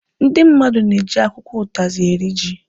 Ndị mmadụ na-eji akwụkwọ ụtazị eri ji